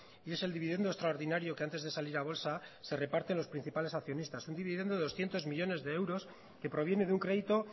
y es el dividendo extraordinario que antes de salir a bolsa se reparten los principales accionistas un dividendo doscientos millónes de euros que proviene de un crédito